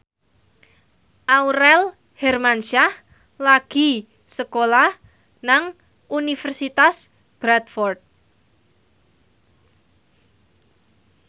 Aurel Hermansyah lagi sekolah nang Universitas Bradford